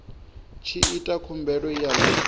tshi ita khumbelo ya ḽi